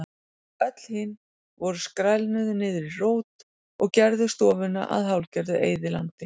Öll hin voru skrælnuð niður í rót og gerðu stofuna að hálfgerðu eyðilandi.